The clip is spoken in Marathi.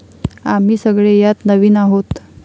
आम्ही सगळे यात नवीन आहोत.